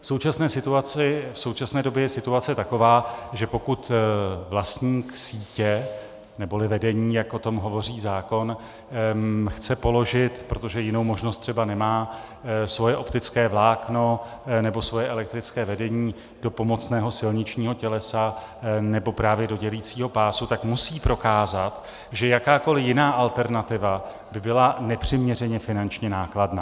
V současné době je situace taková, že pokud vlastník sítě neboli vedení, jak o tom hovoří zákon, chce položit, protože jinou možnost třeba nemá, svoje optické vlákno nebo svoje elektrické vedení do pomocného silničního tělesa nebo právě do dělicího pásu, tak musí prokázat, že jakákoliv jiná alternativa by byla nepřiměřeně finančně nákladná.